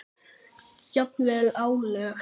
Jafnvel álög.